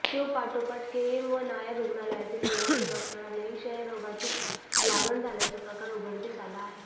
शीवपाठोपाठ KEM व नायर रुग्णालयातील निवासी डॉक्टरांनाही क्षयरोगाची लागण झाल्याचा प्रकार उघडकीस आला आहे